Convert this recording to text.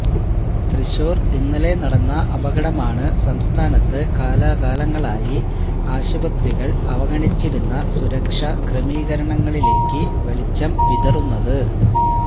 തൃശ്ശൂർ ഇന്നലെ നടന്ന അപകടമാണ് സംസ്ഥാനത്ത് കാലാകാലങ്ങളായി ആശുപത്രികൾ അവഗണിച്ചിരുന്ന സുരക്ഷാക്രമീകരണങ്ങളിലേക്ക് വെളിച്ചം വിതറുന്നത